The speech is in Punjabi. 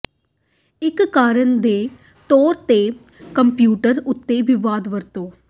ਇੱਕ ਕਾਰਨ ਦੇ ਤੌਰ ਤੇ ਕੰਪਿਊਟਰ ਉੱਤੇ ਵਿਵਾਦ ਵਰਤੋ